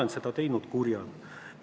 Kas ma olen olnud kuri?